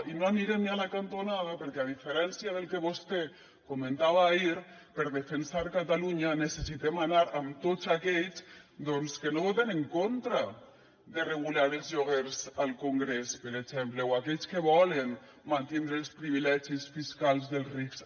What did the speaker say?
i no anirem ni a la cantonada perquè a diferència del que vostè comentava ahir per defensar catalunya necessitem anar amb tots aquells que no voten en contra de regular els lloguers al congrés per exemple o aquells que volen mantindre els privilegis fiscals dels rics